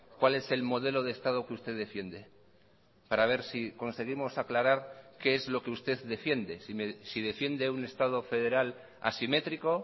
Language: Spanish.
cuál es el modelo de estado que usted defiende para ver si conseguimos aclarar qué es lo que usted defiende si defiende un estado federal asimétrico